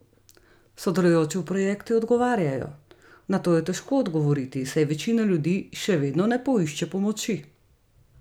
Sodelujoči v projektu odgovarjajo: 'Na to je težko odgovoriti, saj večina ljudi še vedno ne poišče pomoči.